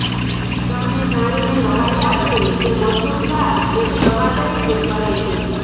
તમને જાણીને નવાઈ લાગશે કે મસૂર દાળ એક દવા તરીકે કરે છે